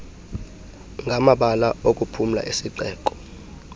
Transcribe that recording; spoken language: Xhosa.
ngamabala okuphumla esixeko